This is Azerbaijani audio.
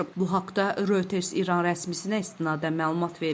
Bu haqda Reuters İran rəsmisinə istinadən məlumat verib.